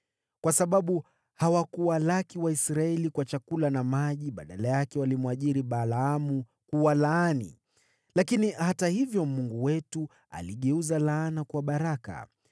kwa sababu hawakuwalaki Waisraeli kwa chakula na maji. Badala yake walimwajiri Balaamu kuwalaani (lakini hata hivyo Mungu wetu aligeuza laana kuwa baraka).